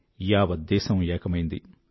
యావత్ దేశం ఏకమైంది